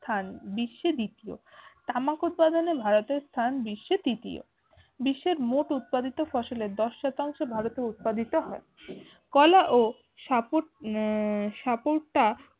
স্থান বিশ্বে দ্বিতীয় তামাক উৎপাদনে ভারতের স্থান বিশ্বে তৃতীয় বিশ্বের মোট উৎপাদিত ফসলের দশ শতাংশ ভারতে উৎপাদিত হয়। কলা ও সাপুট আহ সাপুটা